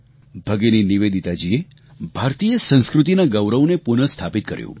ભગિની નિવેદિતાજીએ ભારતીય સંસ્કૃતિના ગૌરવને પુનઃસ્થાપિત કર્યું